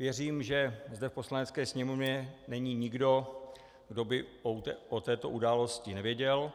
Věřím, že zde v Poslanecké sněmovně není nikdo, kdo by o této události nevěděl,